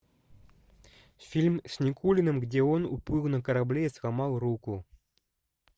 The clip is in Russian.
фильм с никулиным где он уплыл на корабле и сломал руку